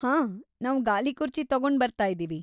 ಹಾಂ, ನಾವ್ ಗಾಲಿಕುರ್ಚಿ ತಗೊಂಡ್ ಬರ್ತಾಯಿದೀವಿ.